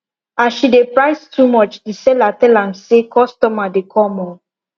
as she dey price too much the seller tell am say customer dey come o